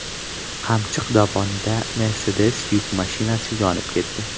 Qamchiq dovonida Mercedes yuk mashinasi yonib ketdi.